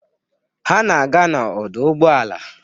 Ha na-aga n'ọdụ ụgbọala.